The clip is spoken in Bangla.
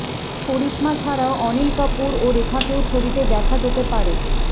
করিশ্মা ছাড়াও অনিল কাপুর ও রেখাকেও ছবিতে দেখা যেতে পারে